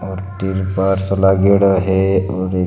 और तिरपाल सो लागेड़ो है और एक --